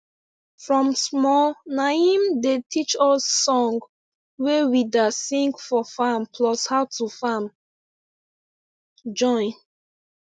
from small naim dem teach us song wey we da sing for farm plus how to farm join